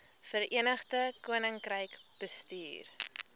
verenigde koninkryk bestuur